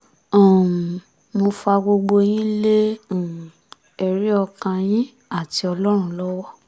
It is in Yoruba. um mo fa gbogbo yín lé um ẹ̀rí ọkàn yín àti ọlọ́run lọ́wọ́